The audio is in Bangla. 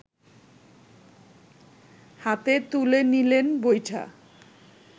হাতে তুলে নিলেন বৈঠা